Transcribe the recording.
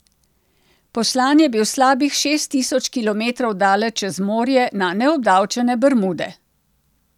Poslan je bil slabih šest tisoč kilometrov daleč čez morje na neobdavčene Bermude.